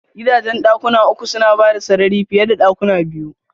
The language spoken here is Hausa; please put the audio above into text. Gidajen dakuna uku suna bada sarari fiye da dakuna biyu.